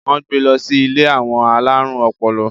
wón gbé ló sì ilé àwọn alarun ọpọlọ